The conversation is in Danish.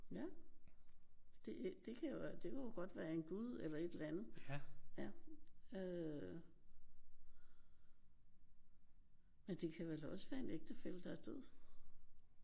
Ja. Det det kan jeg godt det kunne jo godt være en gud eller et eller andet. Ja øh men det kan vel også være en ægtefælle der er død?